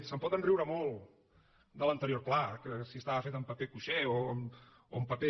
se’n pot riure molt de l’anterior pla que si estava fet amb paper cuixé o amb paper